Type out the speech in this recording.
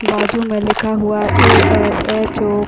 बाजू मैं लिखा हुआ ए_एस_एच_ओ --